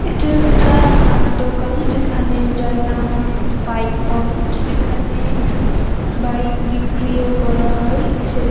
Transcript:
এটা একটা আ দোকান যেখানে যার নাম বাইক পয়েন্ট । এখানে বাইক বিক্রিও করা হয়। সেক --